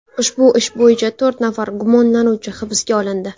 Ushbu ish bo‘yicha to‘rt nafar gumonlanuvchi hibsga olindi.